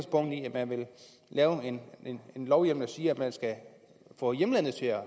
man vil lave en lovhjemmel der siger at man skal få hjemlandet til at